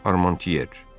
Armantyer.